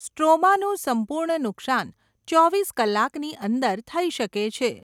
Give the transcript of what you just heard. સ્ટ્રોમાનું સંપૂર્ણ નુકશાન ચોવીસ કલાકની અંદર થઈ શકે છે.